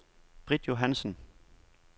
Britt Johansson